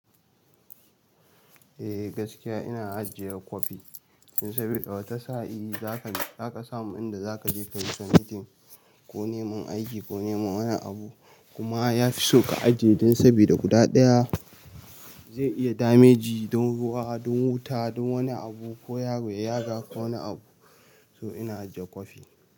Eh gaskiya ina ajiye kwafi don sabida wata sa'i za ka za ka samu inda za ka je ka yi submitting ko neman aiki ko neman wani abu kuma ya fi so ka ajiye don sabida guda ɗaya zai iya dameji don ruwa don wuta don wani abu ko yaro ya yaga ko wani abu. So ina ajiye kwafi.